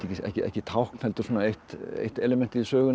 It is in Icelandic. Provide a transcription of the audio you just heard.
ekki tákn heldur eitt elementið í sögunni